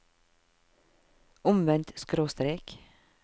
omvendt skråstrek